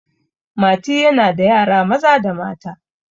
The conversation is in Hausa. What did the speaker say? mati yana da yara Maza da mata